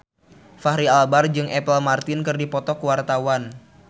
Fachri Albar jeung Apple Martin keur dipoto ku wartawan